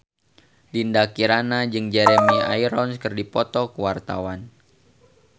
Dinda Kirana jeung Jeremy Irons keur dipoto ku wartawan